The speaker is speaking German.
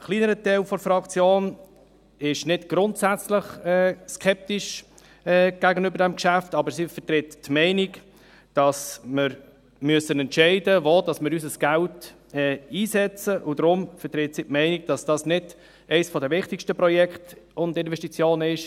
Ein kleinerer Teil der Fraktion ist nicht grundsätzlich skeptisch gegenüber dem Geschäft, aber sie vertritt die Meinung, dass wir entscheiden müssen, wo wir unser Geld einsetzen, und deshalb vertritt sie die Meinung, dass dies im Moment nicht eines der wichtigsten Projekte und Investitionen ist.